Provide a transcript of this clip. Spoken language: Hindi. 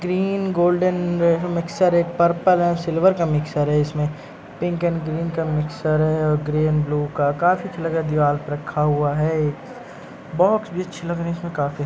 ग्रीन गोल्डन मिक्चर है पर्पल है सिल्वर का मिक्चर हैं इसमें पिंक एंड ग्रीन का मिक्चर है और ग्रीन एंड ब्लू का काफी कलर का दिवार पर रख हुआ है ये बॉक्स भी अच्छे लग रहे हैं इसमें काफी --